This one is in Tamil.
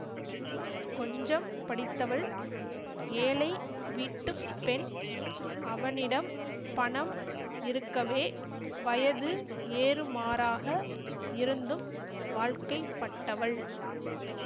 கொஞ்சம் படித்தவள் ஏழை வீட்டு பெண் அவனிடம் பணம் இருக்கவே வயது ஏறுமாறாக இருந்தும் வாழ்க்கைப்பட்டவள்